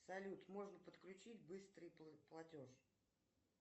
салют можно подключить быстрый платеж